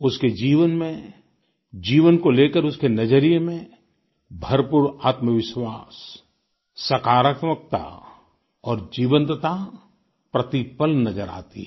उसके जीवन में जीवन को लेकर उसके नजरिए में भरपूर आत्मविश्वास सकारात्मकता और जीवंतता प्रतिपल नजर आती है